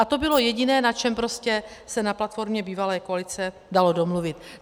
A to bylo jediné, na čem se na platformě bývalé koalice dalo domluvit.